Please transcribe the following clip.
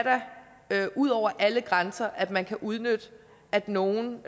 da ud over alle grænser at man kan udnytte at nogen